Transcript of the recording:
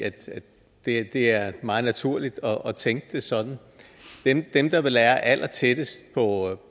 det er meget naturligt at tænke det sådan dem der vil være allertættest på